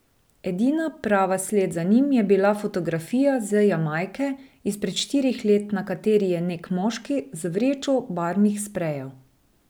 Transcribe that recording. Edina prava sled za njim je bila fotografija z Jamajke izpred štirih let, na kateri je nek moški z vrečo barvnih sprejev.